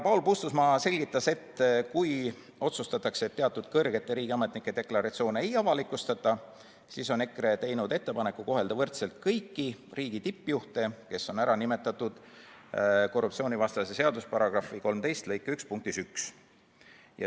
Paul Puustusmaa selgitas, et kui otsustatakse, et teatud kõrgete riigiametnike deklaratsioone ei avalikustata, siis teeb EKRE ettepaneku kohelda võrdselt kõiki riigi tippjuhte, kes on nimetatud korruptsioonivastase seaduse § 13 lõike 1 punktis 1.